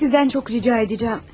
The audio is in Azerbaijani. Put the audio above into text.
Sizdən çox rica edəcəm.